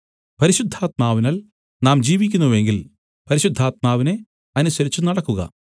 പരിശുദ്ധാത്മാവിനാൽ നാം ജീവിക്കുന്നു എങ്കിൽ പരിശുദ്ധാത്മാവിനെ അനുസരിച്ചു നടക്കുക